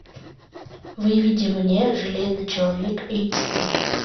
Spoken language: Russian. выведи мне железный человек эйч ди